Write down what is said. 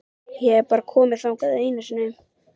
Ég hef bara komið þangað einu sinni.